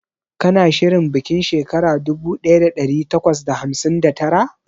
Kana shirin bikin shekara dubu daya da dari takwas da hamsin da tara?